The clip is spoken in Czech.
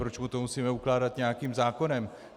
Proč mu to musíme ukládat nějakým zákonem?